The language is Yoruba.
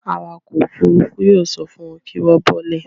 Awakọ̀ òfurufú yóò sọ fun wọn kí wọ́n bọ́ọ́lẹ̀.